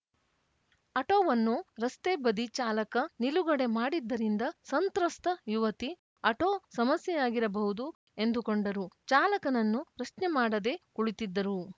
ಅಟೋವನ್ನು ರಸ್ತೆ ಬದಿ ಚಾಲಕ ನಿಲುಗಡೆ ಮಾಡಿದ್ದರಿಂದ ಸಂತ್ರಸ್ತ ಯುವತಿ ಅಟೋ ಸಮಸ್ಯೆಯಾಗಿರಬಹುದು ಎಂದುಕೊಂಡರು ಚಾಲಕನನ್ನು ಪ್ರಶ್ನೆ ಮಾಡದೆ ಕುಳಿತಿದ್ದರು